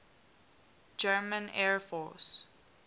german air force